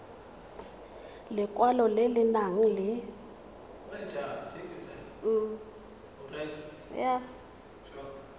lekwalo le le nang le